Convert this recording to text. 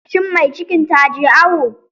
Shin mai cikin taje awo?